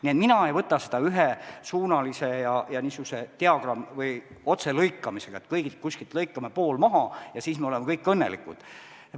Nii et mina ei võta seda ühesuunalise ja niisuguse otselõikamisena, et kõigilt lõikame pool maha ja siis me oleme kõik õnnelikud.